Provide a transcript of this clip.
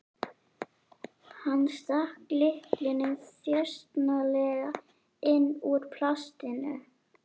Hann stakk lyklinum þjösnalega inn úr plastinu.